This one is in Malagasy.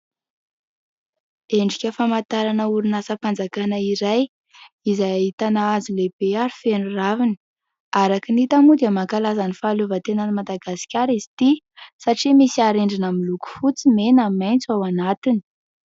Endrika famantarana orinasam-panjakana iray izay ahitana hazo lehibe ary feno raviny. Araka ny hita moa dia mankalaza ny fahaleovantenan'i Madagasikara izy ity satria misy harendrina miloko fotsy mena maitso ao anatiny.